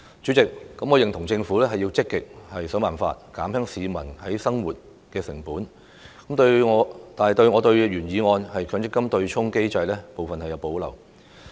主席，我認同政府須積極設法減輕市民的生活成本，但對原議案有關強制性公積金對沖機制的部分有所保留。